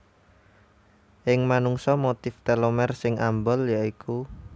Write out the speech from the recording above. Ing manungsa motif telomer sing ambal ya iku